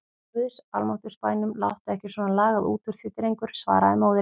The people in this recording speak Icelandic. Í guðs almáttugs bænum láttu ekki svona lagað út úr þér drengur, svaraði móðirin.